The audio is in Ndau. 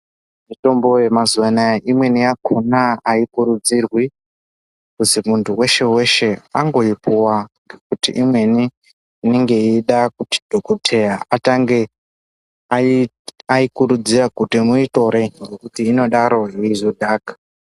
Mitombo yemazuwa anaa imweni yakhona aikurudzirwi kuti muntu weshe weshe angoipuwa Kuti imweni inenge yeida kuti dhokoteya atange ai aikurudzira kuti muitore kuti inodaro yeizodhaka.